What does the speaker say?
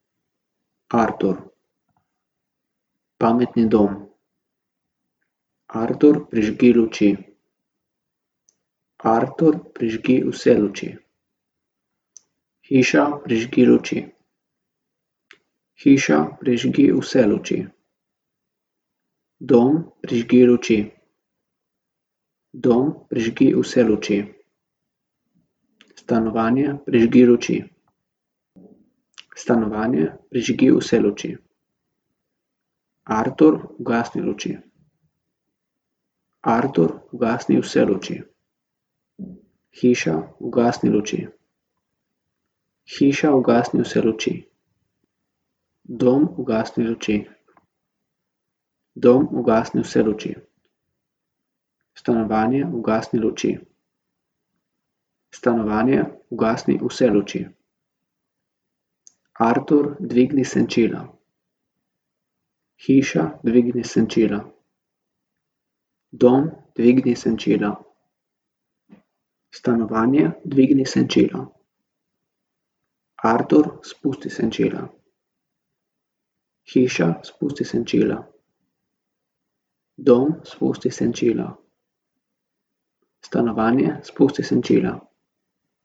Artur. Pametni dom. Artur, prižgi luči. Artur, prižgi vse luči. Hiša, prižgi luči. Hiša, prižgi vse luči. Dom, prižgi luči. Dom, prižgi vse luči. Stanovanje, prižgi luči. Stanovanje, prižgi vse luči. Artur, ugasni luči. Artur, ugasni vse luči. Hiša, ugasni luči. Hiša, ugasni vse luči. Dom, ugasni luči. Dom, ugasni vse luči. Stanovanje, ugasni luči. Stanovanje, ugasni vse luči. Artur, dvigni senčila. Hiša, dvigni senčila. Dom, dvigni senčila. Stanovanje, dvigni senčila. Artur, spusti senčila. Hiša, spusti senčila. Dom, spusti senčila. Stanovanje, spusti senčila.